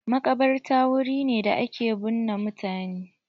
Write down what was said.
Makabarta wuri ne da ake binne mutane.